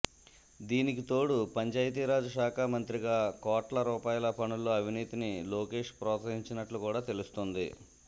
దీనికితోడు పంచాయతీరాజ్ శాఖ మంత్రిగా కోట్ల రూపాయల పనుల్లో అవినీతిని లోకేష్ ప్రోత్సహించినట్టు కూడా తెలుస్తోంది